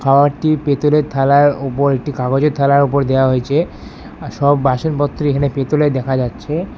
খাওয়ারটি পেতলের ফালার উপর একটি কাগজের থালার উপর দেওয়া হয়েছে আর সব বাসনপত্র এখানে পেতলের দেখা যাচ্ছে।